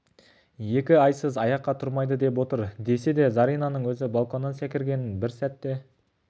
екі айсыз аяққа тұрмайды деп отыр десе де заринаның өзі балконнан секіргеніне бір сәт те